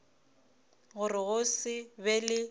gore go se be le